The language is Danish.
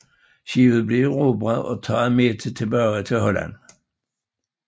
Skibet blev erobret og taget med tilbage til Holland